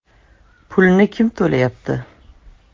Pulni kim to‘layapti?